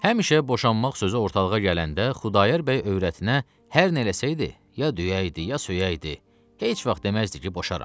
Həmişə boşanmaq sözü ortalığa gələndə Xudayar bəy övrətinə hər nə eləsəydi, ya döyəydi, ya söyəydi, heç vaxt deməzdi ki, boşaram.